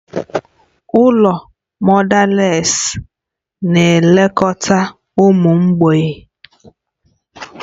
Ụlọ mọdales na-elekọta ụmụ mgbei